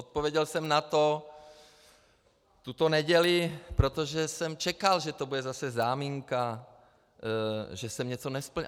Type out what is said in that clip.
Odpověděl jsem na to tuto neděli, protože jsem čekal, že to bude zase záminka, že jsem něco nesplnil.